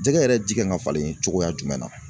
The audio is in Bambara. Jɛgɛ yɛrɛ ji kan ka falen cogoya jumɛn na?